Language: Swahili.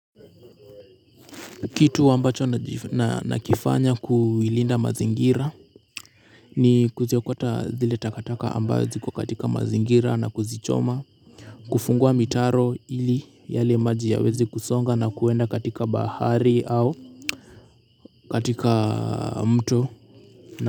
Kitu ambacho nakifanya kuilinda mazingira. Ni kuziokota zile takataka ambazo ziko katika mazingira na kuzichoma. Kufungua mitaro ili yale maji yaweze kusonga na kuenda katika bahari au katika mto na.